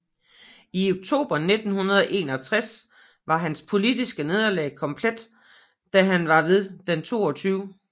I oktober 1961 var hans politiske nederlag komplet da han ved den 22